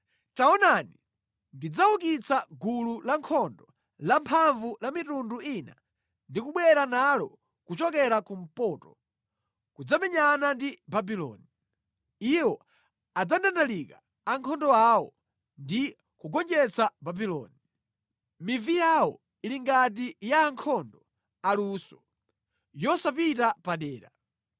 Taonani, ndidzaukitsa gulu lankhondo lamphamvu la mitundu ina ndi kubwera nalo kuchokera kumpoto kudzamenyana ndi Babuloni. Iwo adzandandalika ankhondo awo ndi kugonjetsa Babuloni. Mivi yawo ili ngati ya ankhondo aluso, yosapita padera.